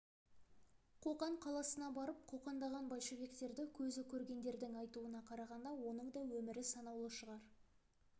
қоқан қаласына барып қоқаңдаған большевиктерді көзі көргендердің айтуына қарағанда оның да өмірі санаулы шығар